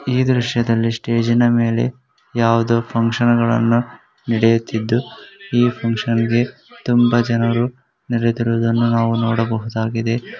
ಈ ದೃಶ್ಯದಲ್ಲಿ ಸ್ಟೇಜಿನ ಮೇಲೆ ಯಾವದೋ ಫಂಕ್ಷನ ಗಳನ್ನ ನಡೆಯುತ್ತಿದ್ದು ಈ ಫಕ್ಷನ್ ಗೆ ತುಂಬಾ ಜನರು ನೆರೆಯುತ್ತಿರುವುದನ್ನು ನಾವು ನೋಡಬಹುದಾಗಿದೆ .